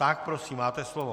Tak prosím, máte slovo.